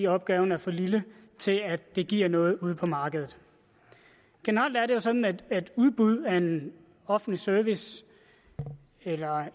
opgaven er for lille til at det giver noget ude på markedet generelt er det jo sådan at udbud af en offentlig service eller